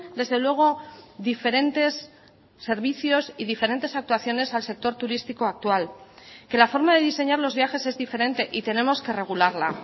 desde luego diferentes servicios y diferentes actuaciones al sector turístico actual que la forma de diseñar los viajes es diferente y tenemos que regularla